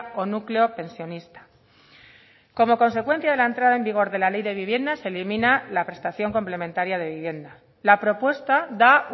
o núcleo pensionista como consecuencia de la entrada en vigor de la ley de vivienda se elimina la prestación complementaria de vivienda la propuesta da